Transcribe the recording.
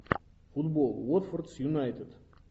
футбол уотфорд с юнайтед